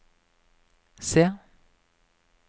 C